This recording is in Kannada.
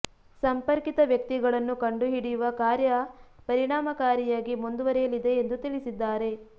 ಸಂಪರ್ಕಿತ ವ್ಯಕ್ತಿಗಳನ್ನು ಕಂಡು ಹಿಡಿಯುವ ಕಾರ್ಯ ಪರಿಣಾಮಕಾರಿಯಾಗಿ ಮುಂದುವರೆಯಲಿದೆ ಎಂದು ತಿಳಿಸಿದ್ದಾರೆ